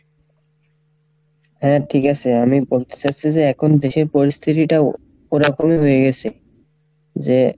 হ্যাঁ ঠিক আসে আমি বলতে চাচ্ছি যে এখন দেশের পরিস্থিতিটাও ওরকমই হয়ে গেসে যে,